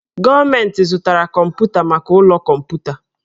Gọọmenti zụtara kọmpụta maka ụlọ kọmputa.